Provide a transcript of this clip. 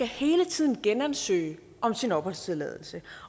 hele tiden genansøge om sin opholdstilladelse